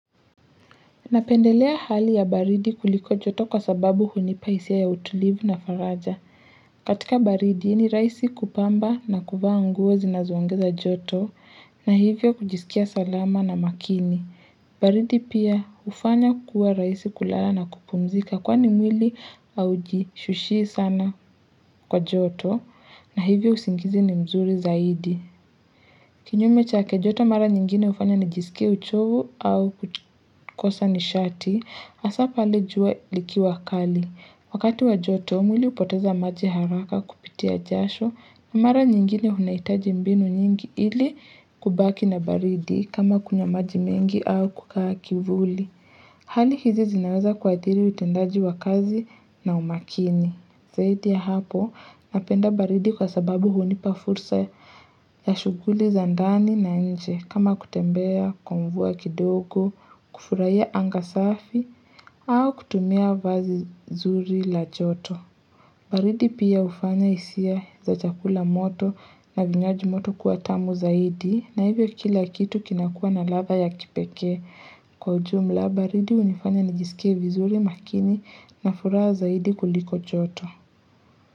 Napendelea hali ya baridi kuliko joto kwa sababu hunipa hisia ya utulivu na faraja. Katika baridi ni raisi kupamba na kuvaa nguo zinazo ongeza joto na hivyo kujisikia salama na makini. Baridi pia hufanya kuwa rahisi kulala na kupumzika kwani mwili haujishushii sana kwa joto na hivyo usingizi ni mzuri zaidi. Kinyume chake joto mara nyingine hufanya nijisikie uchovu au kukosa nishati hasa pale jua likiwa kali. Wakati wa joto mwili hupoteza maji haraka kupitia jasho na mara nyingine unahitaji mbinu nyingi ili kubaki na baridi kama kunywa maji mengi au kukaa kivuli. Hali hizi zinaweza kuadhiri utendaji wa kazi na umakini. Zaidi ya hapo napenda baridi kwa sababu hunipa fursa ya shughuli za ndani na nje kama kutembea, kwa mvua kidogo, kufurahia anga safi au kutumia vazi zuri la joto. Baridi pia hufanya hisia za chakula moto na vinywaji moto kuwa tamu zaidi na hivyo kila kitu kinakua na ladha ya kipekee. Kwa ujumla baridi hunifanya nijisikie vizuri makini na furaha zaidi kuliko joto.